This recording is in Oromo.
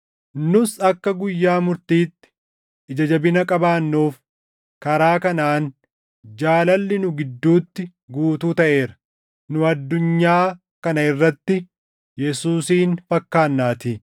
Nus akka guyyaa murtiitti ija jabina qabaannuuf karaa kanaan jaalalli nu gidduutti guutuu taʼeera; nu addunyaa kana irratti Yesuusin fakkaannaatii.